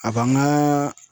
A b'an ŋa